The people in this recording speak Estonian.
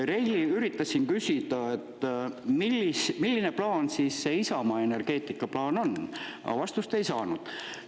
Reili üritas siin küsida, milline plaan siis see Isamaa energeetikaplaan on, aga vastust ei saanud.